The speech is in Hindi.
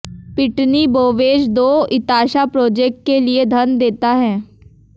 पिटनी बोवेज दो इताशा प्रोजेक्ट्स के लिए धन देता है